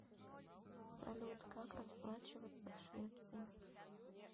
салют как расплачиваться в швеции